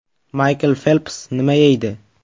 Maykl Felps nima yeydi?